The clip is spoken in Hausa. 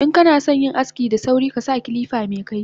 Inkanasan yin aski da sauri kasa kilifa mekaifi